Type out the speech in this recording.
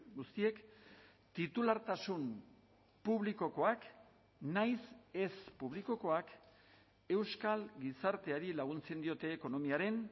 guztiek titulartasun publikokoak nahiz ez publikokoak euskal gizarteari laguntzen diote ekonomiaren